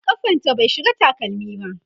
kafanta bai shiga takalmi ba